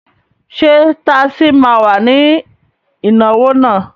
Ṣé tasí ma wà ní ìnáwó náà?